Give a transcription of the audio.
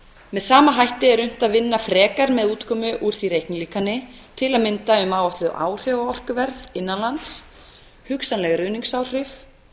með sama hætti er unnt að vinna frekar með útkomur úr því reiknilíkani til að mynda um áætluð áhrif á orkuverð innan lands hugsanleg ruðningsáhrif